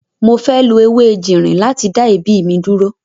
Mo fẹ́ lo ewé ejìnrìn láti dá èébì mi dúró.